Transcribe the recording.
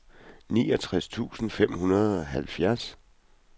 niogtres tusind fem hundrede og halvfjerds